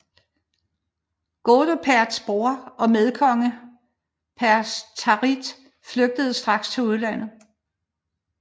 Godeperts bror og medkonge Perctarit flygtede straks til udlandet